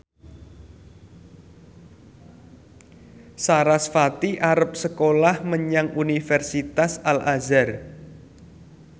sarasvati arep sekolah menyang Universitas Al Azhar